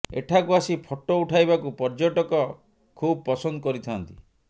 ଏଠାକୁ ଆସି ଫଟୋ ଉଠାଇବାକୁ ପର୍ୟ୍ୟଟକ ଖୁବ ପସନ୍ଦ କରିଥାଆନ୍ତି